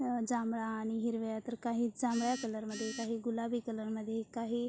अ जांभळा आणि हिरव्या तर काही जांभळ्या कलर मध्ये काही गुलाबी कलर मध्ये काही--